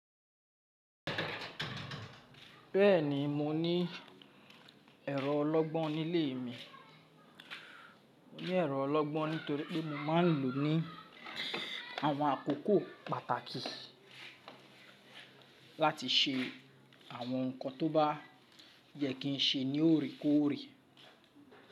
Bẹ́ẹ̀ni, mo ní ẹ̀rọ ọlọgbọ́n nílé mi. Mo ní ẹ̀rọ ọlọgbọ́n nítorí pé mo máa ń lò ó ní àwọn àkókò pàtàkì láti ṣe àwọn nǹkan tó bá yẹ kí n ṣe ní òrékóòrè.